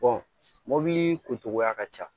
mɔbili kun cogoya ka ca